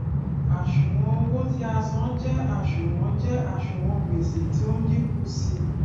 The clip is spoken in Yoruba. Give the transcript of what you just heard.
àṣùwòn owó tí a san jé àṣùwòn jé àṣùwòn gbèsè tí ó dínkù sí i